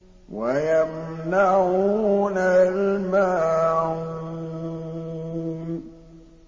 وَيَمْنَعُونَ الْمَاعُونَ